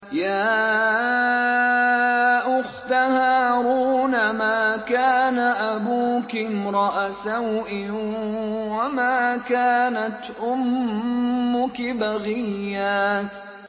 يَا أُخْتَ هَارُونَ مَا كَانَ أَبُوكِ امْرَأَ سَوْءٍ وَمَا كَانَتْ أُمُّكِ بَغِيًّا